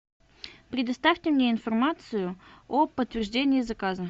предоставьте мне информацию о подтверждении заказа